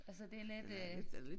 Altså det lidt øh